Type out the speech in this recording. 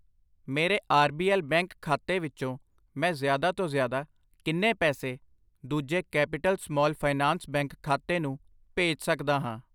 ਮੇਰੇ R B L bank ਖਾਤੇ ਵਿੱਚੋ ਮੈਂ ਜ਼ਿਆਦਾ ਤੋਂ ਜ਼ਿਆਦਾ ਕਿੰਨੇ ਪੈਸੇ ਦੂਜੇ ਕੈਪੀਟਲ ਸਮਾਲ ਫਾਈਨਾਂਸ ਬੈਂਕ ਖਾਤੇ ਨੂੰ ਭੇਜ ਸੱਕਦਾ ਹਾਂ?